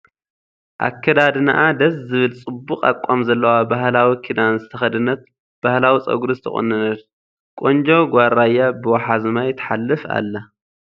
ኣከዳድንኣ ደስ ዝብል ፅቡቅ ኣቃም ዘለዋ ባህላዊ ኪዳን ዝተከደነት ባህላዊ ፀጉሪ ዝተቆነንት ቆንጆ ጋል ራያ ብወሓዚ ማይ ትሓልፍ ኣላ ።